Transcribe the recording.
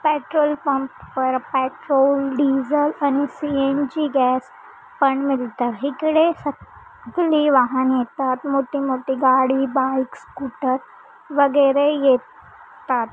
Petrol pump पर petrol diesel आणि CNG gas पण मिळत आहे इकडे सगळी वाहने येतात मग ते मोठी गाडी बाइक्स स्कूटर वगैरे ये तात.